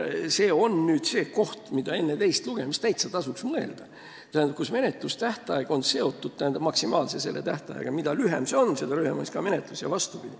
See on see koht, mille üle tasuks enne teist lugemist täitsa mõelda, et menetlustähtaeg oleks seotud karistuse maksimaalse pikkusega: mida lühem see on, seda lühem on ka menetlus ja vastupidi.